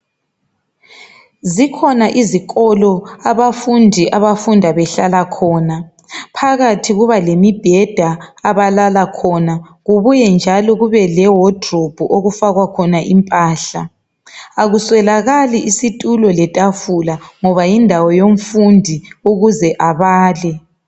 Zikhona izikolo abafundi abafunda behlala khona, phakathi kuba lemibheda abalala khona, kubuye njalo kube le wadiribhu okufakwa khona impahla. Akuswelakali isitulo letafula ngoba yindawo yomfundi ukuze abale.